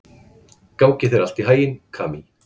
Gangi þér allt í haginn, Kamí.